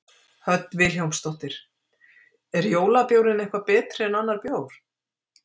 Hödd Vilhjálmsdóttir: Er jólabjórinn eitthvað betri en annar bjór?